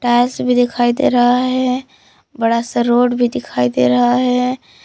Tiles भी दिखाई दे रहा है बड़ा सा रोड भी दिखाई दे रहा है।